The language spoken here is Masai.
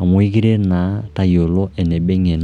amu aikeret naa tayiolo eneba eng'eno